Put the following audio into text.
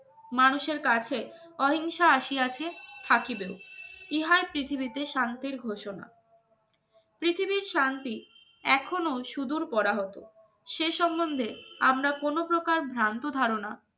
মানুষের কাছে অহিংসা আসি আছে থাকিবে ইহার পৃথিবীতে শান্তির ঘোষণা এখনো সুদূর করা হতো। কোন প্রকার ভ্রান্ত ধারণা